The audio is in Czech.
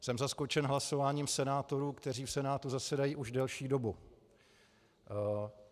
Jsem zaskočen hlasováním senátorů, kteří v Senátu zasedají už delší dobu.